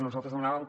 nosaltres demanàvem